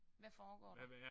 Hvad foregår det?